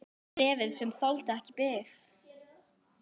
Bréfið, sem þoldi ekki bið